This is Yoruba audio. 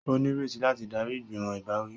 O nireti láti darí igbimọ ìbáwí